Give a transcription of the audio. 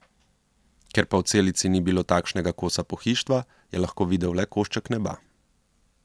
Ker pa v celici ni bilo takšnega kosa pohištva, je lahko videl le košček neba.